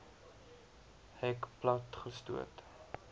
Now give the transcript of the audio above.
hek plat gestoot